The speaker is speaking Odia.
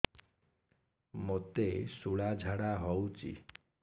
ମୋତେ ଶୂଳା ଝାଡ଼ା ହଉଚି